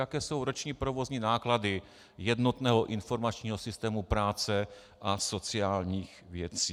Jaké jsou roční provozní náklady jednotného informačního systému práce a sociálních věcí?